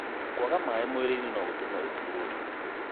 kwaga maĩ mũirĩinĩ no gũtũme ũturwo nĩ mũtwe